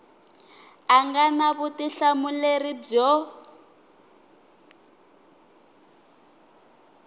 a nga na vutihlamuleri byo